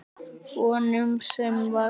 Hvað segirðu um fimmtíu krónur á tímann?